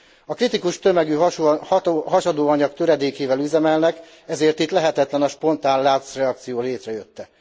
A kritikus tömegű hasadóanyag töredékével üzemelnek, ezért itt lehetetlen a spontán láncreakció létrejötte.